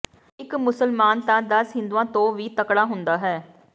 ਇਕ ਮੁਸਲਮਾਨ ਤਾਂ ਦਸ ਹਿੰਦੂਆਂ ਤੋਂ ਵੀ ਤਕੜਾ ਹੁੰਦਾ ਹੈ